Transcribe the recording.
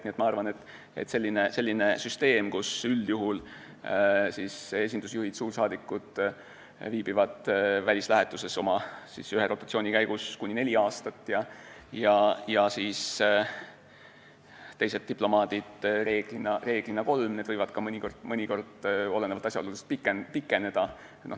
Nii et ma arvan, et toimib selline süsteem, kus esinduse juhid, suursaadikud viibivad välislähetuses ühe rotatsiooni käigus üldjuhul kuni neli aastat ja teised diplomaadid enamasti kolm, see aeg võib mõnikord olenevalt asjaoludest pikeneda.